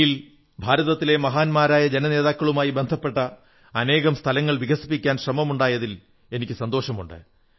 ദില്ലിയിൽ ഭാരതത്തിലെ മഹാന്മാരായ ജനനേതാക്കളുമായി ബന്ധപ്പെട്ട അനേകം സ്ഥലങ്ങൾ വികസിപ്പിക്കാൻ ശ്രമമുണ്ടായതിൽ എനിക്കു സന്തോഷമുണ്ട്